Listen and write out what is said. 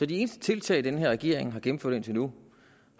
de eneste tiltag den her regering har gennemført indtil nu